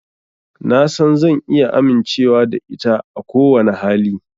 Na san zan iya amincewa da ita a kowane hali.